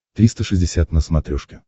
триста шестьдесят на смотрешке